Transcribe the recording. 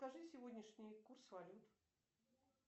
скажи сегодняшний курс валют